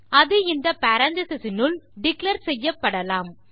அது இந்த பேரெந்தீசஸ் னுள் டிக்ளேர் செய்யப்படலாம்